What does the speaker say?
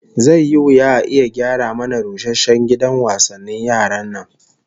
Zai yi wuya a iya gyara mana rusasshen gidan wasannin yaran nan